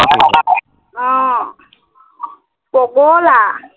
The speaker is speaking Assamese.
আহ পগলা